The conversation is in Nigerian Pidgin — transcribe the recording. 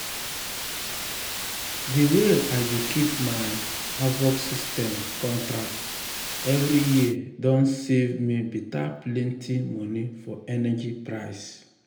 de way i dey keep my hvac system contract every um year don save um me beta plenty um money for energy price.